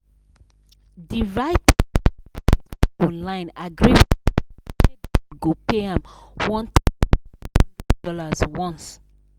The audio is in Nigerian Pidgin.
the writer wey dey write for online agree with client say dem go pay am one thousand five hundred dollars once